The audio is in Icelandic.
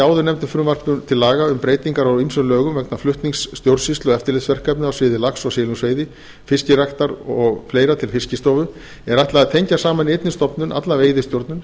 áðurnefndu frumvarpi til laga um breytingar á ýmsum lögum vegna flutnings stjórnsýslu og eftirlitsverkefna á sviði lax og silungsveiði fiskræktar og fleira til fiskistofu er ætlað að tengja saman í einni stofnun alla veiðistjórnun